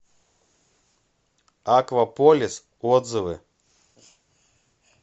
акваполис отзывы